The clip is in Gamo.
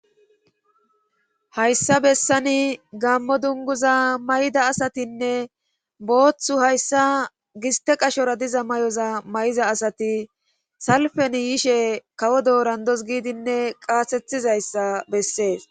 Hayssa bessani gammo dunguza may7ida asatinne booththu hayssa giste qashora diza may7oza may7iza asati salfen yiishe kawo doorandos giidinne qaasethizayssa bessees.